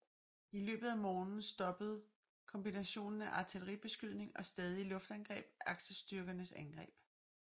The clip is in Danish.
I løbet af morgenen stoppede kombinationen af artilleribeskydning og stadige luftangreb aksestyrkernes angreb